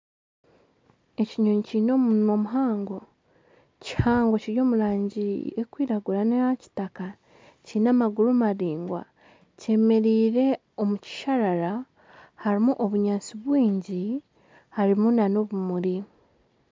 Ekinyonyi kiine omunwa muhango, kihango kiri omu rangi erikwiragura n'eya kitaka kiine amagura maraingwa kyemereire omu kisharara harimu obunyatsi bwingi harimu n'obumuri